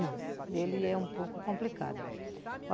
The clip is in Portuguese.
Não, ele é um pouco complicado.